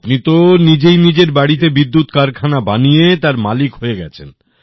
আপনি তো নিজেই নিজের বাড়িতেই বিদ্যুৎ কারখানা বানিয়ে তার মালিক হয়ে গেছেন